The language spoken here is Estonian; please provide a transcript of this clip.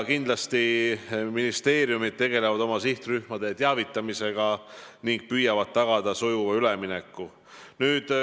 Kindlasti tegelevad ministeeriumid oma sihtrühmade teavitamisega ning püüavad tagada sujuva ülemineku.